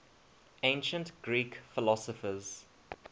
ancient greek philosophers